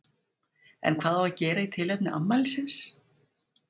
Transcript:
En hvað á að gera í tilefni afmælisins?